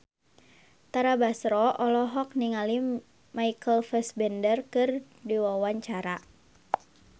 Tara Basro olohok ningali Michael Fassbender keur diwawancara